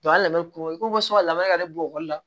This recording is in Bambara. a labɛn ko i ko ko ka labɛn yɛrɛ bokɔla